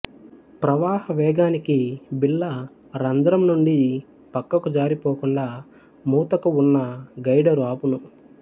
ప్రవాహ వేగానికి బిళ్ళ రంధ్రం నుండి పక్కకు జారి పోకుండా మూతకు వున్నా గైడరు ఆపును